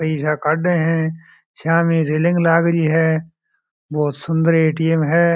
पैस काड़ है सामने रैलिंग लागरी है बहुत सुन्दर ए_टी_एम है।